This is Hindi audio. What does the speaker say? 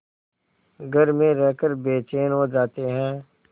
घर में रहकर बेचैन हो जाते हैं